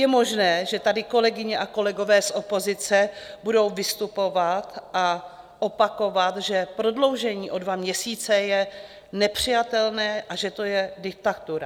Je možné, že tady kolegyně a kolegové z opozice budou vystupovat a opakovat, že prodloužení o dva měsíce je nepřijatelné a že to je diktatura.